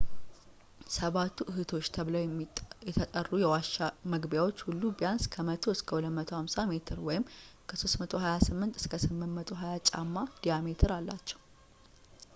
ሰባቱ እህቶች” ተብለው የተጠሩ የዋሻ መግቢያዎች ሁሉ ቢያንስ ከ 100 እስከ 250 ሜትር ከ 328 እስከ 820 ጫማ ዲያሜትር አላቸው